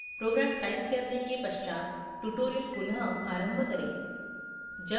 program type करने के पश्चात tutorial पुनः आरंभ करें